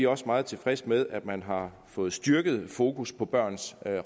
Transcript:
også meget tilfredse med at man har fået et styrket fokus på børns